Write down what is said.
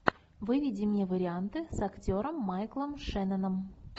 выведи мне варианты с актером майклом шенноном